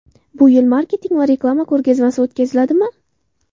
Bu yil Marketing va reklama ko‘rgazmasi o‘tkaziladimi?